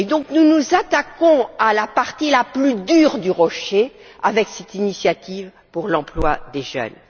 Nous nous attaquions donc à la partie la plus dure du rocher avec cette initiative pour l'emploi de jeunes.